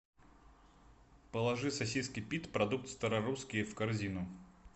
положи сосиски пит продукт старорусские в корзину